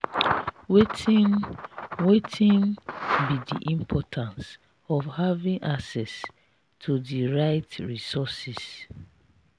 wetin wetin be di importance of having access to di right resources?